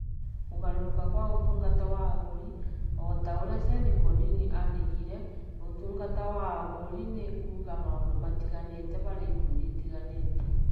Kũgarũrũka kwa Ũtungata wa Agũri: O ta ũrĩa Seth Godin aandĩkire, Ũtungata wa Ahũri nĩ kuuga maũndũ matiganĩte harĩ ikundi itiganĩte.